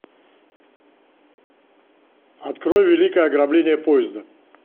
открой великое ограбление поезда